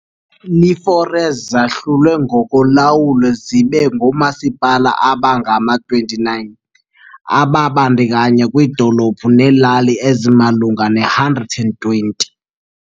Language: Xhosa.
IiFaroes zahlulwe ngokolawulo zibe ngoomasipala abangama-29 ababandakanya iidolophu neelali ezimalunga ne-120.